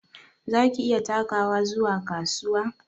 Za ki iya takawa zuwa kasuwa?